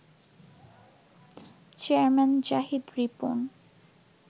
chairman Zahid Ripon